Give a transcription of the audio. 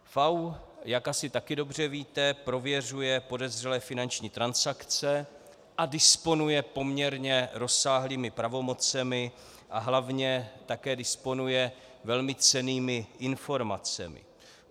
FAÚ, jak asi také dobře víte, prověřuje podezřelé finanční transakce a disponuje poměrně rozsáhlými pravomocemi a hlavně také disponuje velmi cennými informacemi.